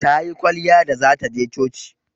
Tayi kwalliya da zata je coci.